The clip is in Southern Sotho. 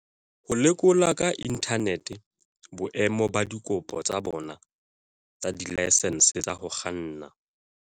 Ho lekola ka inthanete boemo ba dikopo tsa bona tsa dilaesense tsa ho kganna